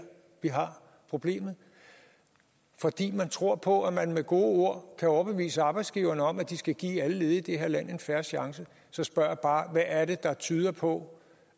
vi har problemet fordi man tror på at man med gode ord kan overbevise arbejdsgiverne om at de skal give alle ledige i det her land en fair chance så spørger jeg bare hvad er det der tyder på